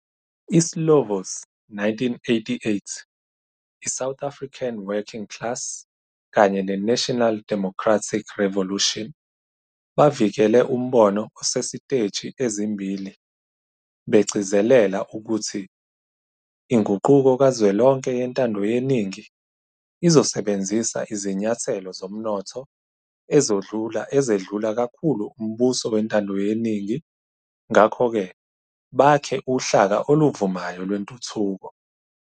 ISlovo's 1988 "iSouth African Working Class kanye neNational Democratic Revolution" bavikele umbono osesiteji ezimbili, begcizelela ukuthi "inguquko kazwelonke yentando yeningi" "izosebenzisa izinyathelo zomnotho ezedlula kakhulu umbuso wentando yeningi" ngakho-ke "bakhe uhlaka oluvumayo lwentuthuko.